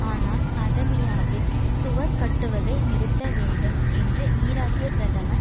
ஆனால் அதமியாவில் சுவர் கட்டுவதை நிறுத்தவேண்டும் என்று ஈராக்கிய பிரதமர்